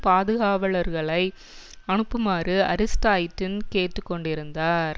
பாதுகாவலர்களை அனுப்புமாறு அரிஸ்டைடின் கேட்டுக்கொண்டிருந்தார்